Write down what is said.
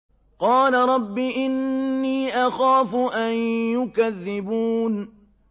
قَالَ رَبِّ إِنِّي أَخَافُ أَن يُكَذِّبُونِ